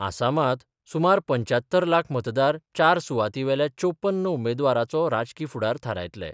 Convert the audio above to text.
आसामांत सुमार पंचात्तर लाख मतदार चार सुवातीवेल्या चौप्पन उमेदवारांचो राजकी फुडार थारायतले.